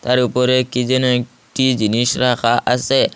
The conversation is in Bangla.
তার উপরে কী যেন একটি জিনিস রাখা আসে।